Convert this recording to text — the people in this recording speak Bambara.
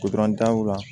daw la